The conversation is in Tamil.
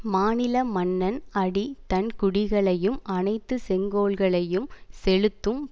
மாநில மன்னன் அடி தன்குடிகளையும் அணைத்து செங்கோல்களையும் செலுத்தும்